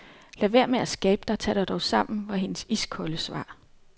Lad være med at skabe dig, tag dig dog sammen, var hendes iskolde svar.